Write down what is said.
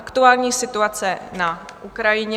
Aktuální situace na Ukrajině